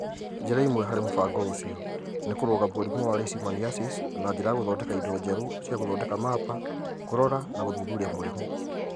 Njĩra imwee hari mũbango ũcio nĩ kũrũga mũrimũ wa Leishmaniasis na njĩra ya gũthondeka indo njerũ cia gũthondeka mapa, kũrora na gũthuthuria mũrimũ.